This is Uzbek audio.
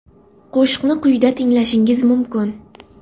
Qo‘shiqni quyida tinglashingiz mumkin.